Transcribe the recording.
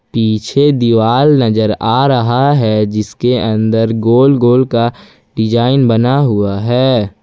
पीछे दीवाल नजर आ रहा है जिसके अंदर गोल गोल का डिजाइन बना हुआ है।